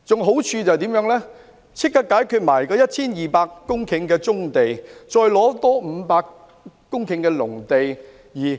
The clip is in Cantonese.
好處是立即解決了 1,200 公頃棕地的問題，還可以再有500公頃農地。